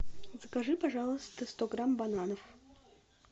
закажи пожалуйста сто грамм бананов